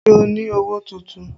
Ṣé o ni owó tuntun?